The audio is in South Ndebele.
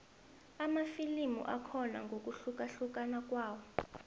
amafilimu akhona ngokuhlukahlukana kwawo